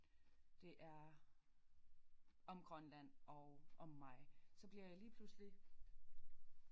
Det er om Grønland og om mig så bliver jeg lige pludselig